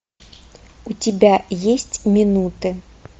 у тебя есть минуты